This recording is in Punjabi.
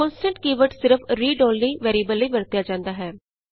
ਕੋਨਸਟੈਂਟ ਕੀ ਵਰਡ ਸਿਰਫ ਰੀਡ ਅੋਨਲੀ ਵੈਰੀਐਬਲ ਲਈ ਵਰਤਿਆ ਜਾਂਦਾ ਹੈ